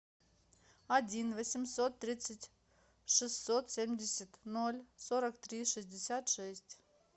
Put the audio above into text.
один восемьсот тридцать шестьсот семьдесят ноль сорок три шестьдесят шесть